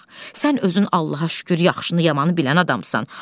Sən özün Allaha şükür, yaxşını yamanı bilən adamsan.